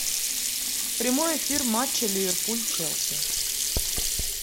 прямой эфир матча ливерпуль челси